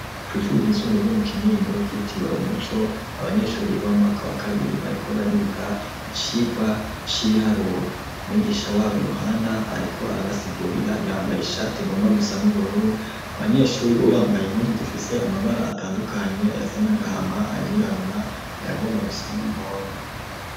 Kw'ishure ryisumbuye ryo mu Kinindo ryitiriwe Umuco abanyeshure biga b'umwaka wa kabiri bariko bariga icigwa c'ibiharuro umwigisha wabo Yohana ariko arabasigurira yambaye ishati igomba gusa n'ubururu abanyeshure bo bambaye impunzu zifise amabara atandukanye ayasa n'agahama ayirabura ayagomba gusa n'umuhondo.